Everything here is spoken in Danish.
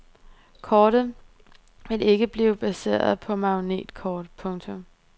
Kortet vil ikke blive baseret på magnetkort. punktum